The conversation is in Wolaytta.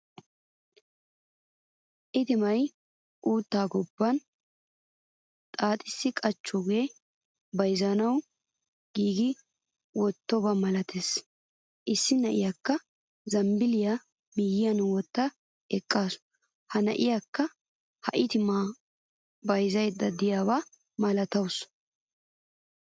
Itima utta gobban xaaxisi qochchoga bayzzanawu giigisi wottidoba milatees. Issi na'iyakka zambbiliya miyiyan wottada eqqasu. Ha na'iyakka ha itima bayzzayda deiyana milatawusu.